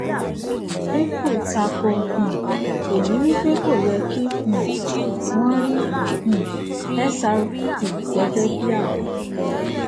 ripple tako um èyí wí pé kò yẹ kí um wón rí um xrp gẹgẹ bíi àbọ